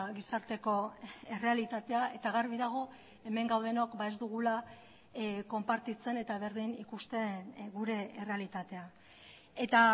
gizarteko errealitatea eta garbi dago hemen gaudenok ez dugula konpartitzen eta berdin ikusten gure errealitatea eta